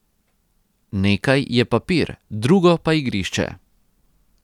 Nekaj je papir, drugo pa igrišče.